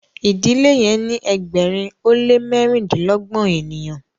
idile yen ni ẹgbẹrin o le mẹrindilọgbọn ènìyàn